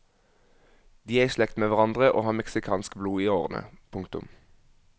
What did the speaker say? De er i slekt med hverandre og har mexicansk blod i årene. punktum